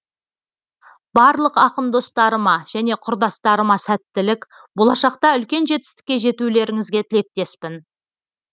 барлық ақын достарыма және құрдастарыма сәттілік болашақта үлкен жетістікке жетулеріңізге тілектеспін